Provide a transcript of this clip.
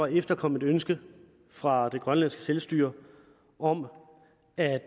at efterkomme et ønske fra grønlands selvstyre om at